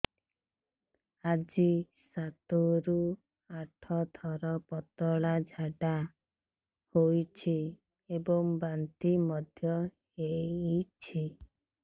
ଆଜି ସାତରୁ ଆଠ ଥର ପତଳା ଝାଡ଼ା ହୋଇଛି ଏବଂ ବାନ୍ତି ମଧ୍ୟ ହେଇଛି